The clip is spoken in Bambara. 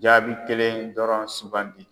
Jaabi kelen dɔrɔn sugandi.